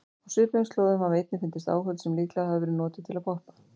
Á svipuðum slóðum hafa einnig fundist áhöld sem líklega hafa verið notuð til að poppa.